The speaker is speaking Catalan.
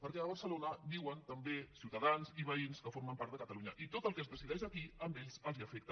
perquè a barcelona viuen també ciutadans i veïns que formen part de catalunya i tot el que es decideix aquí a ells els afecta